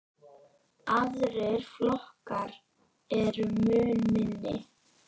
Aðrir flokkar eru mun minni.